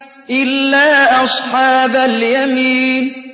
إِلَّا أَصْحَابَ الْيَمِينِ